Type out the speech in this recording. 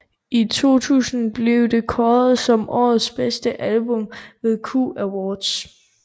I 2002 blev det kåret som årets bedste album ved Q Awards